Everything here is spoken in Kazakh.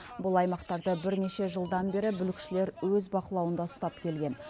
бұл аймақтарды бірнеше жылдан бері бүлікшілер өз бақылауында ұстап келген